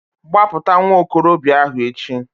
Gbapụta nwa okorobịa ahu echi!